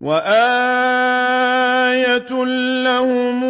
وَآيَةٌ لَّهُمْ